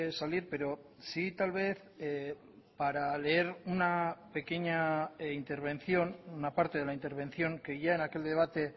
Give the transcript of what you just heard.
salir pero sí tal vez para leer una pequeña intervención una parte de la intervención que ya en aquel debate